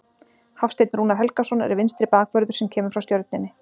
Hafsteinn Rúnar Helgason er vinstri bakvörður sem kemur frá Stjörnunni.